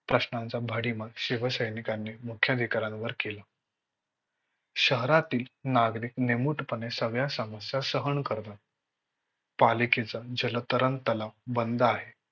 प्रश्नांचा भडीमार शिवसैनिकांनी मुख्य अधिकाऱ्या वर केला. शहरातील नागरीक निमूटपणे सगळ्या समस्यां सहन करतात पालिकेचा जलतरण तलाव बंद आहे.